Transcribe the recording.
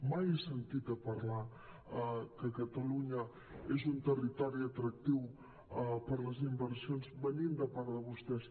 mai he sentit a parlar que catalunya és un territori atractiu per les inversions venint de part de vostès